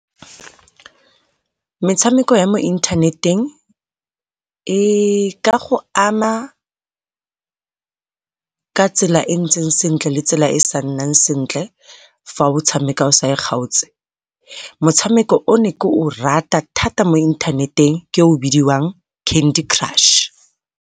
Metshameko ya mo inthaneteng e ka go ama ka tsela e ntseng sentle le tsela e sa nnang sentle fa o e tshameka o sa e kgaotse. Motshameko o ne ke o rata thata mo inthaneteng ke o o bidiwang Candy Crush.